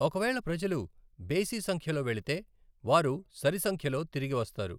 ఒకవేళ ప్రజలు బేసి సంఖ్యలో వెళితే, వారు సరి సంఖ్యలో తిరిగి వస్తారు.